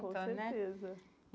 Né Sim, com certeza.